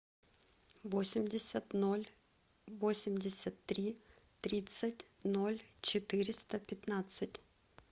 восемьдесят ноль восемьдесят три тридцать ноль четыреста пятнадцать